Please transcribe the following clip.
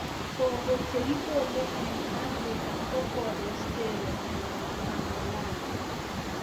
Koko che kikole eng' afrika ko Forastero anan Amelando